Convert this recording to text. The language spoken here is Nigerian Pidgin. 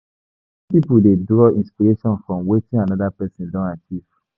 When person dey draw inspiration from wetin anoda person don achieve